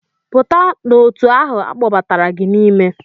Pụta n'òtù ahụ a kpọbatara gị n'ime!